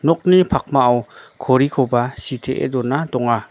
nokni pakmao korikoba sitee dona donga.